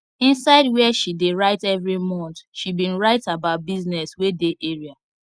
inside where she dey write every month she bin write about business wey dey area